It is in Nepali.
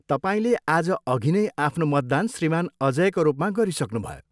तपाईँले आज अघि नै आफ्नो मतदान श्रीमान अजयका रूपमा गरिसक्नुभयो।